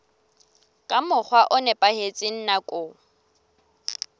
ka mokgwa o nepahetseng nakong